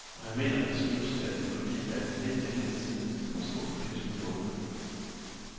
Og han mener, det skyldes, at økologi er et hedt emne i tiden, som har stor politisk bevågenhed.